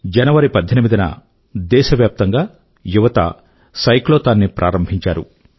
జనవరి 18న దేశవ్యాప్తం గా యువత సైక్లోథాన్ ని ప్రారంభించారు